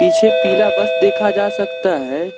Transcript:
पीछे पीला बस देखा जा सकता है।